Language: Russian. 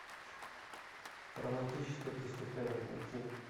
романтическое преступление найти